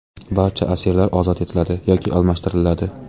Barcha asirlar ozod etiladi va almashtiriladi.